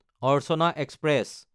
Archana express